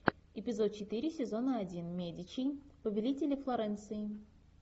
эпизод четыре сезона один медичи повелители флоренции